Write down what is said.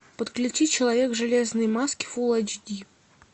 подключи человек в железной маске фул эйч ди